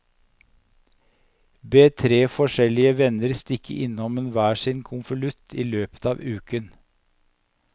Be tre forskjellige venner stikke innom med hver sin konvolutt i løpet av uken.